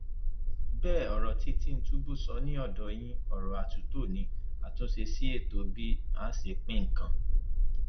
bẹẹ ọrọ tí tìtúnbù sọ ni ọdọ yìí ọrọ àtúntò ní àtúnṣe sí ètò bí a ṣe ń pín nǹkan